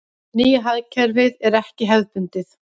Nýja hagkerfið er ekki hefðbundið.